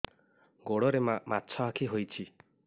ଗୋଡ଼ରେ ମାଛଆଖି ହୋଇଛି